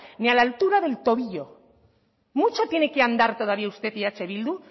ni a la altura del tobillo mucho tiene que andar todavía usted y eh bildu